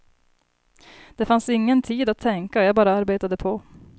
Det fanns ingen tid att tänka, jag bara arbetade på.